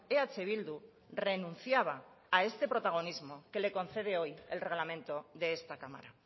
eh bildu renunciaba a este protagonismo que le concede hoy el reglamento de esta cámara